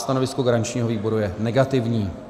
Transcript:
Stanovisko garančního výboru je negativní.